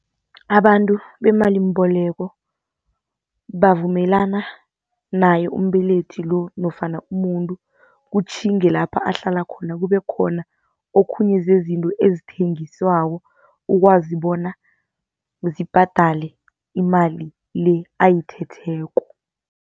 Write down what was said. Abantu bemalimboleko bavumelana naye umbelethi lo nofana umuntu, utjhinge lapha ahlala khona kube khona okhunye zezinto ezithengiswako. Ukwazi bona zibhadale imali le ayithetheko.